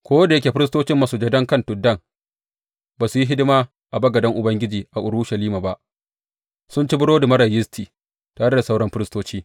Ko da yake firistocin masujadan kan tuddai ba su yi hidima a bagaden Ubangiji a Urushalima ba, sun ci burodi marar yisti tare da sauran firistoci.